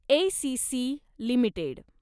ACC limited